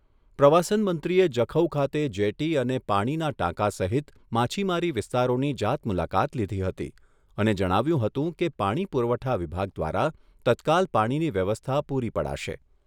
પ્રવાસન મંત્રીએ જખૌ ખાતે જેટી અને પાણીના ટાંકા સહિત માછીમારી વિસ્તારોની જાત મુલાકાત લીધી હતી અને જણાવ્યુંં હતું કે પાણી પુરવઠા વિભાગ દ્વારા તત્કાલ પાણીની વ્યવસ્થા પૂરી પડાશે.